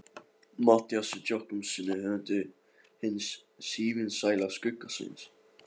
Matthíasi Jochumssyni höfundi hins sívinsæla Skugga-Sveins.